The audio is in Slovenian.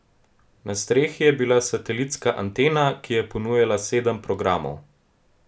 Na strehi je bila satelitska antena, ki je ponujala sedem programov.